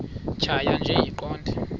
tjhaya nje iqondee